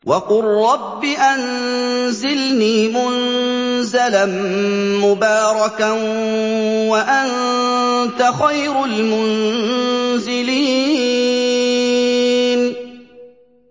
وَقُل رَّبِّ أَنزِلْنِي مُنزَلًا مُّبَارَكًا وَأَنتَ خَيْرُ الْمُنزِلِينَ